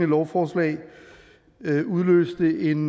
lovforslag udløste en